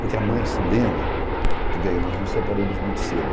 Porque a mãe, Sulema, bem nós nos separamos muito cedo.